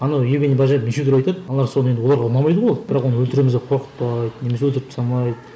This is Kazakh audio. анау евгений баженов неше түрлі айтады аналар соны енді оларға ұнамайды ғой ол бірақ енді оны өлтіреміз деп қорқытпайды немесе өлтіріп тастамайды